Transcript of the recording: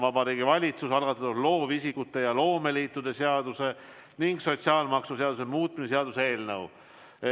Vabariigi Valitsuse algatatud loovisikute ja loomeliitude seaduse ning sotsiaalmaksuseaduse muutmise seaduse eelnõu.